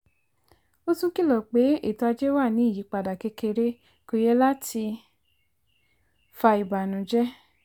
ó tún kìlọ̀ pé ètò ajé wà ní ìyípadà kékeré kò yẹ láti fa ìbànújẹ́.